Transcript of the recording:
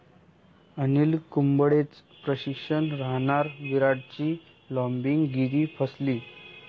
अनिल कुंबळेच प्रशिक्षक राहणार, विराटची 'लाॅबिंग'गिरी फसली